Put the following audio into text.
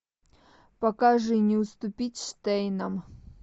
покажи не уступить штейнам